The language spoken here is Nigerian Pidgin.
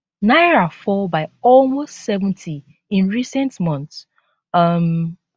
naira fall by almost 70 in recent months um